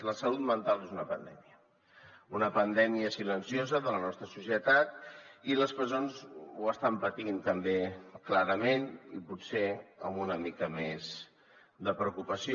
la salut mental és una pandèmia una pandèmia silenciosa de la nostra societat i les presons ho estan patint també clarament i potser amb una mica més de preocupació